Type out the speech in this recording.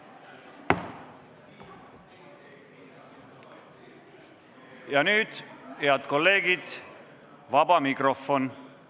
Ja nüüd, head kolleegid, vaba mikrofon.